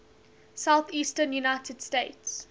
southeastern united states